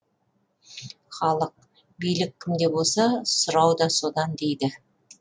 халық билік кімде болса сұрау да содан дейді